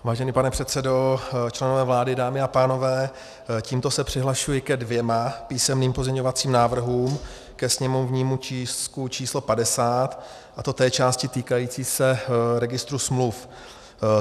Vážený pane předsedo, členové vlády, dámy a pánové, tímto se přihlašuji ke dvěma písemným pozměňovacím návrhům ke sněmovnímu tisku číslo 50, a to té části týkající se registru smluv.